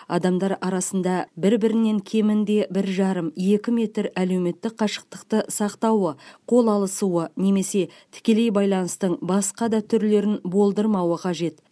адамдар арасында бір бірінен кемінде бір жарым екі метр әлеуметтік қашықтықты сақтауы қол алысуды немесе тікелей байланыстың басқа да түрлерін болдырмауы қажет